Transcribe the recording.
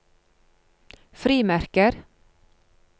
frimerker